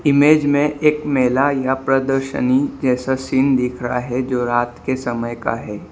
Image में एक मेला या प्रदर्शनी जैसा सीन दिख रहा है जो रात के समय का है।